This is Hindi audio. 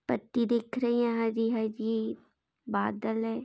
पत्ती दिख रही है यहाँ हरी-हरी बादल है।